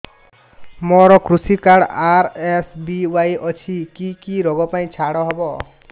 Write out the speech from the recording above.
ମୋର କୃଷି card RSBY ଅଛି କି କି ଋଗ ପାଇଁ ଛାଡ଼ ହବ